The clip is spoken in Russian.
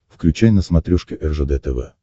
включай на смотрешке ржд тв